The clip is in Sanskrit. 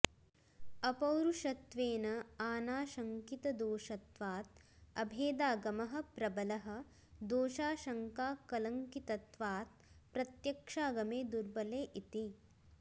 अपॊरुषेयत्वेन आनाशङ्कितदोषत्वात् अभेदागमः प्रबलः दोषाशङ्काकलङ्कितत्वात् प्रत्यक्षागमे दुर्बले इति